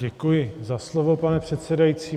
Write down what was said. Děkuji za slovo, pane předsedající.